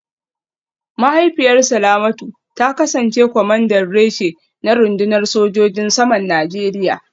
Mahaifiyar Salamatu ta kasance kwamandan reshe a rundunar sojojin saman Najeriya